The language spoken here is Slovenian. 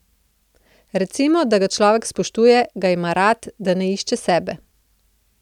Recimo, da ga človek spoštuje, ga ima rad, da ne išče sebe.